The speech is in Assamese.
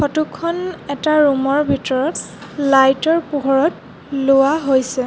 ফটো খন এটা ৰুম ৰ ভিতৰত লাইট ৰ পোহৰত লোৱা হৈছে।